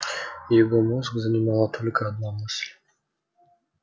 его мозг занимала только одна мысль